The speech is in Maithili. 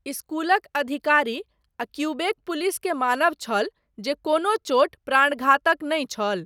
स्कूलक अधिकारी आ क्यूबेक पुलिस के मानब छल जे कोनो चोट प्राणघातक नहि छल।